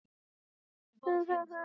Leikný, hvenær kemur ásinn?